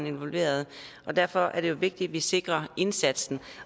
involveret og derfor er det jo vigtigt at vi sikrer indsatsen